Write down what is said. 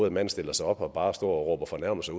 en mand stiller sig op og bare råber fornærmelser